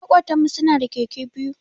Makotan mu su na da Keke biyu.